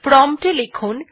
prompt এ লিখুন